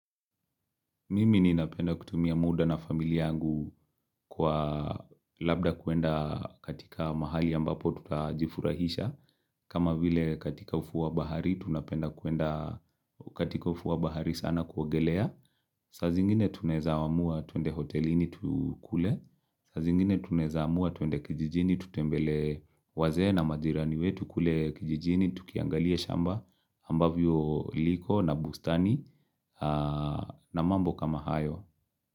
Mimi ninapenda kutumia muda na familia yangu kwa labda kuenda katika mahali ambapo tutajifurahisha. Kama vile katika ufuo wa bahari, tunapenda kuenda katika ufuo wa bahari sana kuogelea. Saa zingine tunaweza amua tuende hotelini tukule. Saa zingine tunaweza amua tuende kijijini tutembele wazee na majirani wetu kule kijijini. Tukiangalia shamba ambavyo liko na bustani na mambo kama hayo.